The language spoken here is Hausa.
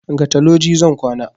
Gata loji zan kwana